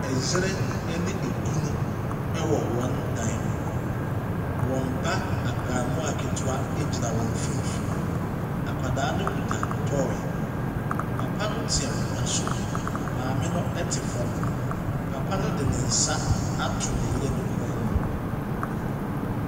Ɛyere ɛne ekunu ɛwɔ wɔn dan mu. Wɔn ba abɛɛmoa ketewa egyina wɔn mfinfini. Akwadaa no kita toy. Papa no te akonwa so. Maame no ɛte fam. Papa no de ne nsa ato ne yere kɔn mu.